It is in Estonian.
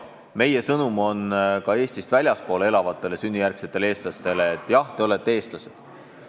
Meie sõnum on ka Eestist väljaspool elavatele sünnijärgsetele kodanikele, et jah, te olete eestlased.